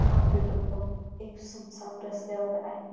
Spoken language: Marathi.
हा पेट्रोल पंप एक सुनसान रस्त्यावर आहे.